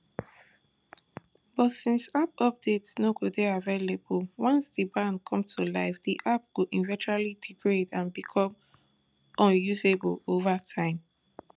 but since app update no go dey available once di ban come to life di app go eventually degrade and become unusable over time